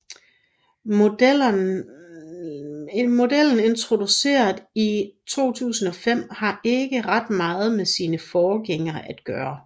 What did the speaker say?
Modellen introduceret i 2005 har ikke ret meget med sine forgængere at gøre